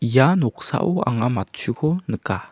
ia noksao anga matchuko nika.